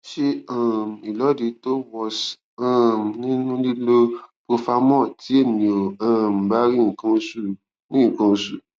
se um ilodi to was um ninu lilo profamol ti eniyan o um ba ri nkan osu ri nkan osu